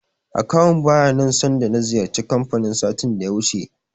Akawun baya nan sanda na ziyarci kanfanin satin da ya wuce.